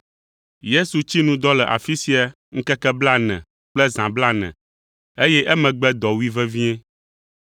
Yesu tsi nu dɔ le afi sia ŋkeke blaene kple zã blaene, eye emegbe dɔ wui vevie.